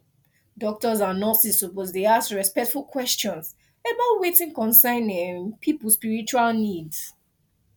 doctors and nurses suppose dey ask respectful question about wetin concern um people spiritual needs